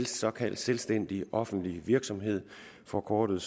såkaldt selvstændig offentlig virksomhed forkortet